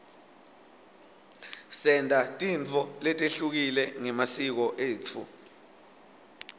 senta tintfo letehlukile ngemasiko etfu